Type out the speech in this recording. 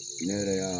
Ne yɛrɛ y'a